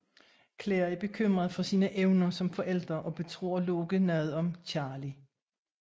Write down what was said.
Claire er bekymret for sine evner som forælder og betror Locke noget om Charlie